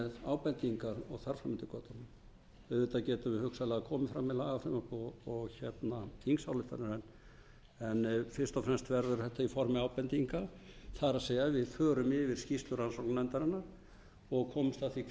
ábendingar og þar fram eftir götunum auðvitað getum við hugsanlega komið fram með lagafrumvörp og þingsályktanir en fyrst og fremst verður þetta í formi ábendinga það er við förum yfir skýrslur rannsóknarnefndarinnar og komumst að því